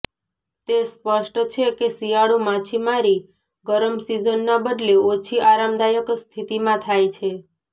તે સ્પષ્ટ છે કે શિયાળુ માછીમારી ગરમ સીઝનના બદલે ઓછી આરામદાયક સ્થિતિમાં થાય છે